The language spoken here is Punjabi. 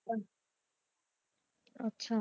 ਅਹ ਅੱਛਾ।